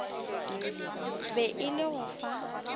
be e le go fa